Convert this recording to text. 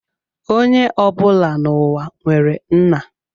Onye ọbụla n'ụwa nwere nna